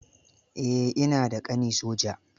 Eh, ina da ƙani soja.